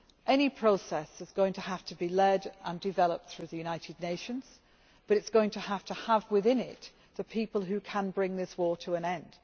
Any process is going to have to be led and developed through the United Nations, but it is going to have to have within it the people who can bring this war to an end.